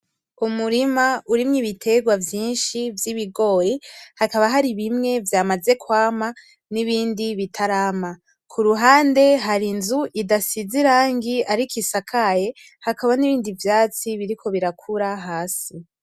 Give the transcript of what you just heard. Umurima urimwo ibitegwa vyinshi vy’ibigori hakaba hari bimwe vyamaze kwama n’ibindi bitarama. K'uruhande hari inzu idasize irangi ariko isakaye hakaba nibindivyatsi biriko birakura hasi.